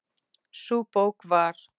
Sú bók var